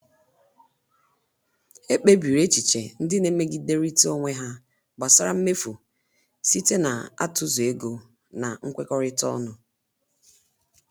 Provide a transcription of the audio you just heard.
Ekpebiri echiche ndị na-emegiderịta onwe ha gbasara mmefu site n'atụzụ ego na nkwekọrịta ọnụ.